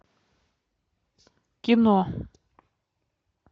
кино